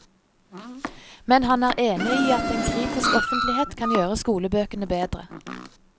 Men han er enig i at en kritisk offentlighet kan gjøre skolebøkene bedre.